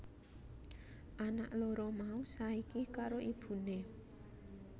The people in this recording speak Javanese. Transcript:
Anak loro mau saiki karo ibuné